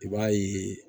I b'a ye